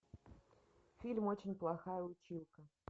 фильм очень плохая училка